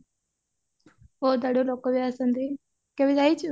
ବହୁତ ଆଡୁ ଲୋକ ବି ଆସନ୍ତି କେବେ ଯାଇଚୁ